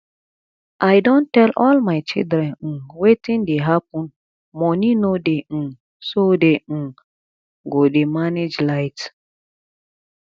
i don tell all my children um wetin dey happen money no dey um so dey um go dey manage light